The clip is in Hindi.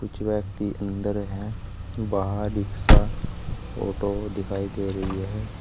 कुछ व्यक्ति अंदर है बाहर रिक्शा ऑटो दिखाई दे रही है।